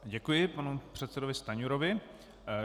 Děkuji panu předsedovi Stanjurovi.